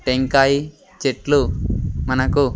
టెంకాయి చెట్లు మనకు.